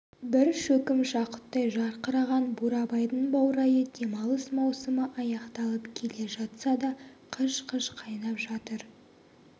бір шөкім жақұттай жарқыраған бурабайдың баурайы демалыс маусымы аяқталып келе жатса да қыж-қыж қайнап жатыр